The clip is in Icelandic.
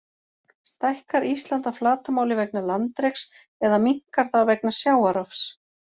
Stækkar Ísland að flatarmáli vegna landreks eða minnkar það vegna sjávarrofs?